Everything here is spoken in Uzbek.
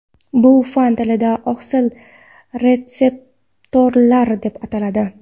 Bu fan tilida oqsil retseptorlar deb ataladi.